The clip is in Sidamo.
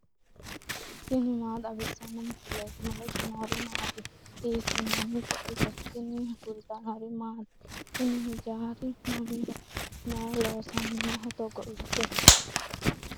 tini maa xawissanno misileeti ? mulese noori maati ? hiissinannite ise ? tini kultannori maati? Kuni hijjari mamiho? Mayi loosamminno togo ikke?